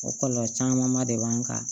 O kɔlɔlɔ camanba de b'an kan